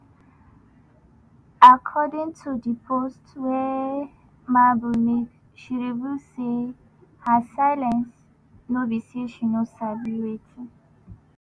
according to di post wey mabel makun make she reveal say her silence no be say she no sabi wetin